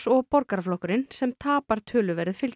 og Borgaraflokkurinn sem tapar töluverðu fylgi